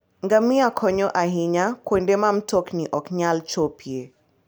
Ngamia konyo ahinya kuonde ma mtokni ok nyal chopoe.